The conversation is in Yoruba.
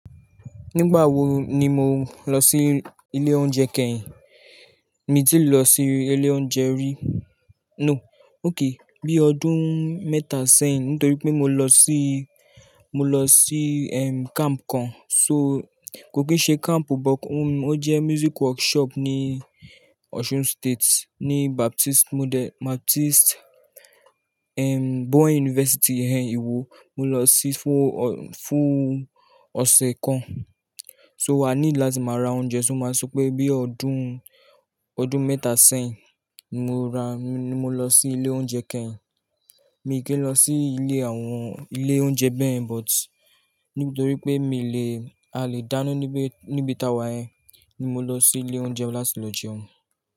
Nígbà wo ni mo lọ sí ilé oúnjẹ kẹ́yìn? Mi ti lọ sí ilé oúnjẹ rí, no. Okay. Bí ọdún mẹ́ta sẹ́yìn nítorí pé mo lọ sí, mo lọ sí, em, camp kan. So kò kí n ṣe camp, but ó jẹ́ music workshop ní Osun State, ní Baptist Mode-- Baptist, Boy University íwo. Mo lọ sí fún, fún ọ̀sẹ̀ kan. So wàá need láti máa ra oúnjẹ, ṣo máa sọ pé bí ọdún, ọdún mẹ́ta sẹ́yìn ni mo ra, ni mo lọ sí ilé oúnjẹ kẹ́yìn. Mi n kìí lọ sí ilé àwọn ilé oúnjẹ bẹ́yẹ̀n, but nítorí pé mi le, a lè dáná níbi, níbi tawa yẹn ni mo lọ sí ilé oúnjẹ láti lọ jẹun.